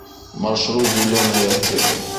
маршрут зеленая аптека